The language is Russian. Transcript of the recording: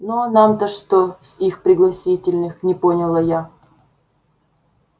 ну а нам-то что с их пригласительных не поняла я